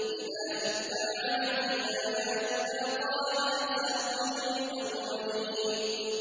إِذَا تُتْلَىٰ عَلَيْهِ آيَاتُنَا قَالَ أَسَاطِيرُ الْأَوَّلِينَ